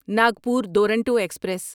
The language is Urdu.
ناگپور دورونٹو ایکسپریس